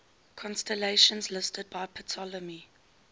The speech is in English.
constellations listed by ptolemy